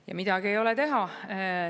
Ja midagi ei ole teha.